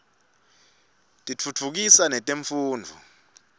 tiftutfukisa netemfundvo